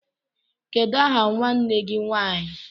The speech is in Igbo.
Kedụ aha nwanne gị nwanyị?